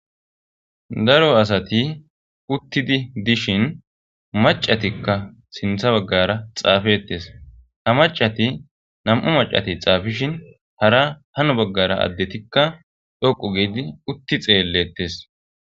daro asati uttidi dishin macatikka sintha baggara xaafetes ha macati nam7u macati xaafishin hara hano baggara addetikka dhoqu giidi utti xeellettes